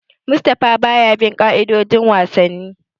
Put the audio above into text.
Mustapha baya bin ka'idojin wasanni.